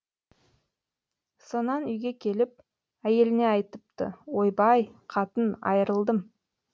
сонан үйге келіп әйеліне айтыпты ойбай қатын айрылдым